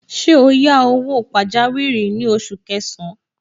Ṣé o yá owó pajawiri ní oṣù kẹsàn-án?